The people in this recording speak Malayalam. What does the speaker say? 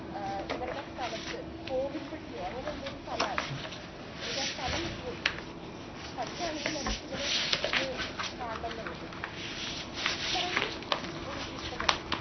ആ ഇവരുടെ സ്ഥലത്ത് കോവിൽ പെട്ടിയോ അങ്ങനെ എന്തോ ഒരു സ്ഥലാണ് എനിക്ക് ആ സ്ഥലം വിട്ടുപോയി പറ്റുവാണെങ്കില് ഇടയ്ക്ക് ഇവരെ ഒന്ന് കാണണമെന്നുണ്ട് അത്രയും എനിക്കിഷ്ടപ്പെട്ടു.